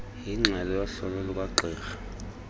yengxelo yohlolo lukagqirha